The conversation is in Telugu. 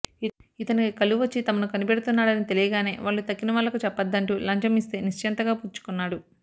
ఇతనికి కళ్లు వచ్చి తమను కనిపెడుతున్నాడని తెలియగానే వాళ్లు తక్కినవాళ్లకు చెప్పవద్దంటూ లంచం యిస్తే నిశ్చింతగా పుచ్చుకున్నాడు